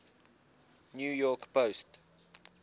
new york post